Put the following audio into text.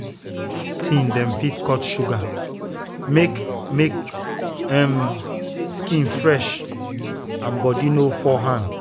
teen dem fit cut sugar make make um skin fresh and body no fall hand.